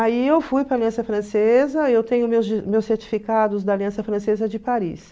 Aí eu fui para a Aliança Francesa, eu tenho meus certificados da Aliança Francesa de Paris.